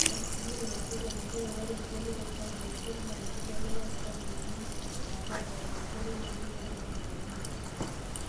Etusujaitia laisotuak njere oree egoloto sapuk aisul naa enkibelekenyata oontokitin eapa eeimu enkoitoi ngejuk e teknoloji.